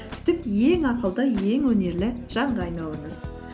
ең ақылды ең өнерлі жанға айналыңыз